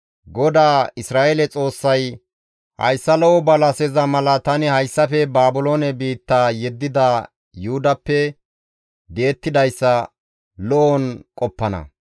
«GODAA Isra7eele Xoossay, ‹Hayssa lo7o balaseza mala tani hayssafe Baabiloone biitta yeddida Yuhudappe di7ettidayssa lo7on qoppana.